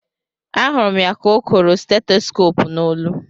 A hụrụ m ya ka o koro stetoskop n'olu